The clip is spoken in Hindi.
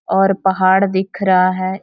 और पहाड़ दिख रहा है|